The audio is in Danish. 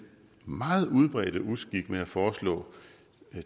meget udbredte uskik med at foreslå